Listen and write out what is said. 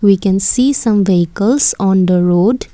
we can see some vehicles on the road.